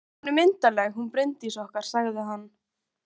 Hún er myndarleg, hún Bryndís okkar, sagði hann.